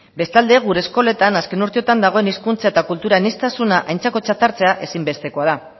bestalde gure eskoletan azken urteotan dagoen hizkuntza eta kultura aniztasuna aintzakotzat hartzea ezinbestekoa da